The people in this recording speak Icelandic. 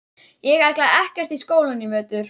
Ég ætla ekkert í skólann í vetur.